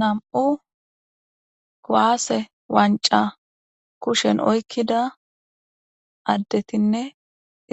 nam7u kuwaase wanca kushen oykkida addetinne